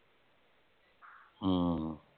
ਹਮ